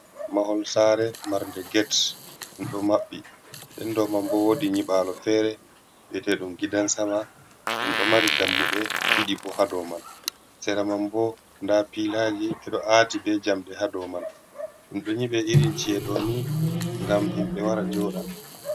Mahol saare marde get, ɗum ɗo maɓɓi den dou man bo wodi nyiɓalo fere bi'etee ɗum gidan sama, ɗum ɗo mari dammuɗe ɗiɗi bo ha dow man, sera man bo nda pilaji ɓedo aati be jamɗe ha dow man, ɗum do nyibe irin ci'e ɗo ni ngam himɓe wara joɗa.